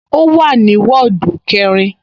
Ó wà ní wọ́ọ̀dù kẹrin